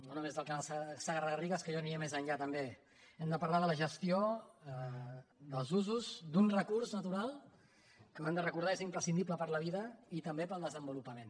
no només del canal segarragarrigues que jo aniria més enllà també hem de parlar de la gestió dels usos d’un recurs natural que ho hem de recordar és imprescindible per a la vida i també per al desenvolupament